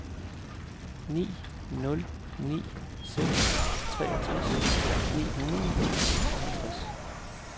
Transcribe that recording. ni nul ni seks treogtres ni hundrede og seksoghalvtreds